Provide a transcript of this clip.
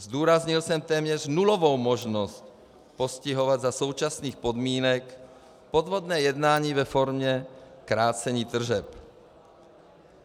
Zdůraznil jsem téměř nulovou možnost postihovat za současných podmínek podvodné jednání ve formě krácení tržeb.